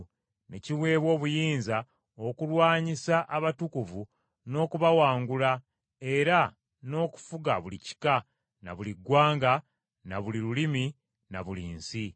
Ne kiweebwa obuyinza okulwanyisa abatukuvu n’okubawangula era n’okufuga buli kika, na buli ggwanga, na buli lulimi, na buli nsi.